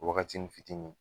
Wagatinin fitini.